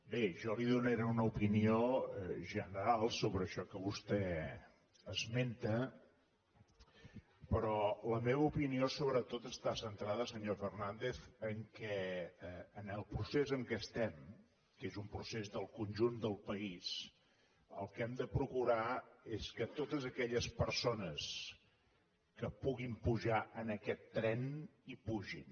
bé jo li donaré una opinió general sobre això que vostè esmenta però la meva opinió sobretot està centrada senyor fernàndez en el fet que en el procés en què estem que és un procés del conjunt del país el que hem de procurar és que totes aquelles persones que puguin pujar en aquest tren hi pugin